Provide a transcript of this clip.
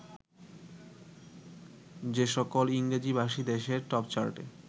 যেসকল ইংরেজিভাষী দেশের টপচার্টে